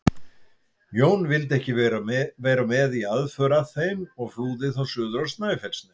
Jón vildi ekki vera með í aðför að þeim og flúði þá suður á Snæfellsnes.